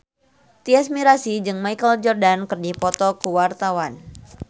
Tyas Mirasih jeung Michael Jordan keur dipoto ku wartawan